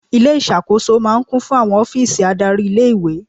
Ilé ìṣàkóso máa ń kún fún àwọn ọ́fíìsì adárí ilé-ìwé.